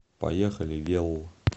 поехали велл